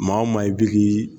Maa wo maa i bi k'i